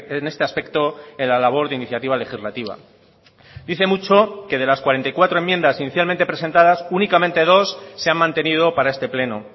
en este aspecto en la labor de iniciativa legislativa dice mucho que de las cuarenta y cuatro enmiendas inicialmente presentadas únicamente dos se han mantenido para este pleno